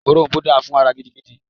Òrom̀bó dáa fún ara gidigidi